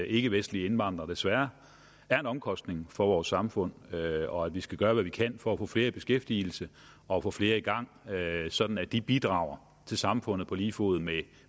ikkevestlige indvandrere desværre er en omkostning for vores samfund og at vi skal gøre hvad vi kan for at få flere i beskæftigelse og få flere i gang sådan at de bidrager til samfundet på lige fod med